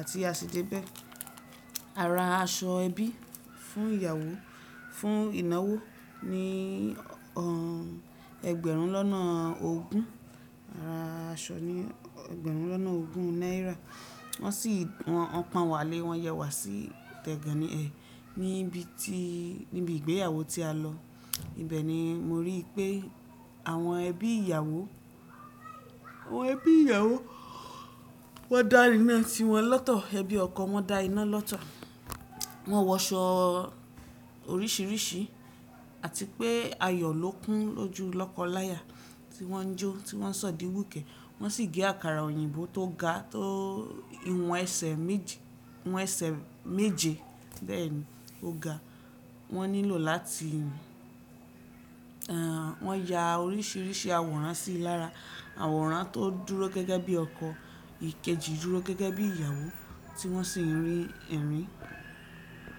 Àti a sì dé bẹ́ẹ̀. Ara aṣọ ẹbí fún ìyàwó, fún ìnáwó ni ẹgbẹ̀rún lọ́nà ogún, ara aṣọ ni ẹgbẹ̀rún lọ́nà ogún náírà. Wọ́n sì, wọn pọn wá lé, wọn yẹ wá sí tẹ̀gànni ẹ̀ níbi tí, níbi ìgbéyàwó tí a lọ. Ibẹ̀ ni mo rí i pé àwọn ẹbí ìyàwó, àwọn ẹbí ìyàwó wọ́n dá íná ti wọn lọ́tọ̀, ẹbí ọkọ wọ́n da iná lọ́tọ̀. Wọ́n wọ aṣọ oríṣiríṣi àti pé ayọ̀ ló kún lójú lọ́kọláya tí wọ́n jó, tí wọ́n sọ̀díwùkẹ̀. Wọ́n sì gé àkàrà òyìnbó tó ga, tó ìwọ̀n ẹsẹ̀ méje, ìwọ̀n ẹsẹ̀ méje bẹ́ẹ̀ ni ó ga. Wọ́n nílò láti, wọ́n ya oríṣiríṣi àwòrán sí i lára, àwòrán tó dúró gẹ́gẹ́ bí ọkọ, ìkejì dúró gẹ́gẹ́ bí ìyàwó tí wọ́n sì ń rin ẹ̀rín.